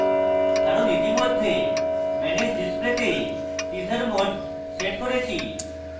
কারণ ইতিমধ্যে manage display তে teaser mode set করেছি